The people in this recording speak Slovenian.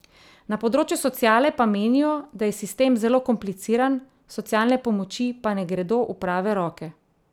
Na področju sociale pa menijo, da je sistem zelo kompliciran, socialne pomoči pa ne gredo v prave roke.